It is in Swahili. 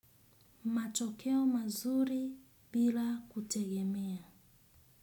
Matokeo mazuri bila kutegemea.